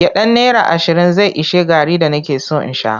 Gyaɗan naira ashirin zai ishe garri da nake son in sha.